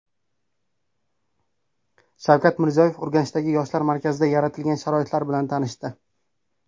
Shavkat Mirziyoyev Urganchdagi Yoshlar markazida yaratilgan sharoitlar bilan tanishdi.